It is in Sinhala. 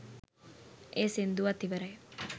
ඒ සින්දුවත් ඉවරයි